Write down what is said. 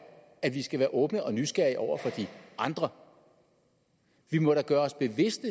at vi skal være åbne og nysgerrige over for de andre vi må da gøre os bevidste